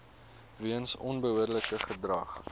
weens onbehoorlike gedrag